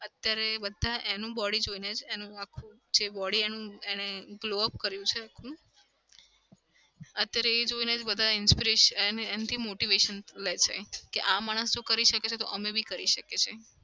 અત્યારે બધા એનું body જોઇને જ એનું આખું જે body એનું એને glowup કર્યું છે આખું. અત્યારે એ જોઈએ ને જ બધા inspiration એન એનથી motivation લે છે કે માણસ જો કરી શકે તો અમે બી કરી શકીએ છીએ.